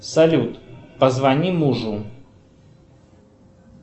салют позвони мужу